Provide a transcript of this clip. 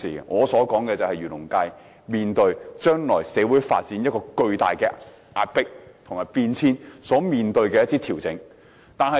我所說的是，漁農界面對將來社會發展帶來巨大壓迫和變遷所面對的一些調整。